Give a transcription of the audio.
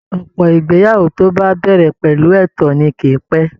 Ọ̀pọ̀ ìgbéyàwó tó bá bẹ̀rẹ̀ pẹ̀lú ẹ̀tàn ni kì í pẹ́